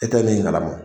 E tɛ min kala ma